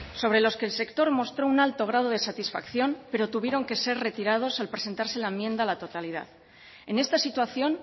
sobre los que el sector mostró un alto grado de satisfacción pero tuvieron que ser retirados al presentarse la enmienda a la totalidad en esta situación